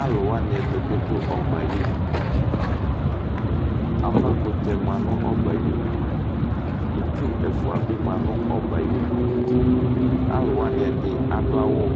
alowani ɛdi bi do ɔbɛ ayinu avakutɛ bi ma no ɔbɛ ayinu itsu ɛfua bi ma no ɔbɛ ayinu alowani ɛdi ado awu